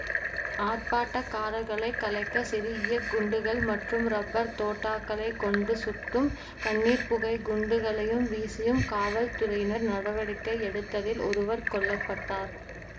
ஆர்ப்பாட்டக்காரர்களைக் கலைக்க சிறு ஈய குண்டுகள் மற்றும் இரப்பர் தோட்டக்களை கொண்டு சுட்டும் கண்ணீர்ப்புகைக் குண்டுகளையும் வீசியும் காவல்துறையினர் நடவடிக்கை எடுத்ததில் ஒருவர் கொல்ல பட்டார்